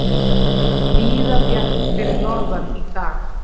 Víða bjart fyrir norðan í dag